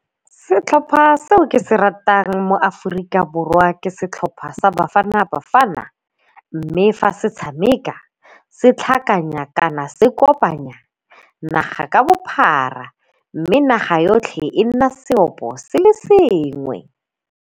Setlhopha seo ke se ratang mo Aforika Borwa ke setlhopha sa Bafana Bafana mme fa se tshameka se tlhakanya kana se kopanya naga ka bophara mme naga yotlhe e nna seopo se le sengwe.